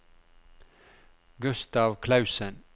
Gustav Clausen